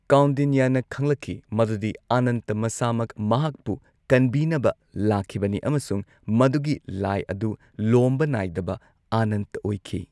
ꯀꯥꯎꯟꯗꯤꯟꯌꯥꯅ ꯈꯪꯂꯛꯈꯤ ꯃꯗꯨꯗꯤ ꯑꯅꯟꯇ ꯃꯁꯥꯃꯛ ꯃꯍꯥꯛꯄꯨ ꯀꯟꯕꯤꯅꯕ ꯂꯥꯛꯈꯤꯕꯅꯤ ꯑꯃꯁꯨꯡ ꯃꯗꯨꯒꯤ ꯂꯥꯏ ꯑꯗꯨ, ꯂꯣꯝꯕ ꯅꯥꯏꯗꯕ, ꯑꯅꯟꯇ ꯑꯣꯏꯈꯤ꯫